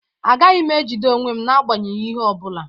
Agaghị m ejide onwe m n'agbanyeghị ihe ọ bụla